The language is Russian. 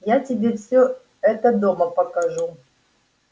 я тебе всё это дома покажу